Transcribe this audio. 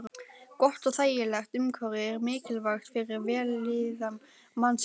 Gott og þægilegt umhverfi er mikilvægt fyrir vellíðan mannsins.